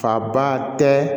Faba tɛ